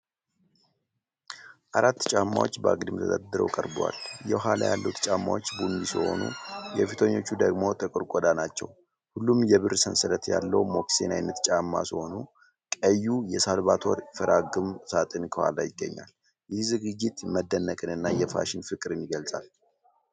አራት ጫማዎች በአግድም ተደርድረው ቀርበዋል። የኋላ ያሉት ጫማዎች ቡኒ ሲሆኑ፣ የፊተኛዎቹ ደግሞ ጥቁር ቆዳ ናቸው። ሁሉም የብር ሰንሰለት ያለው ሞካሲን ዓይነት ጫማ ሲሆኑ፣ ቀዩ የሳልቫቶሬ ፌራጋሞ ሣጥን ከኋላው ይገኛል። ይህ ዝግጅት መደነቅንና የፋሽን ፍቅርን ይገልጻል።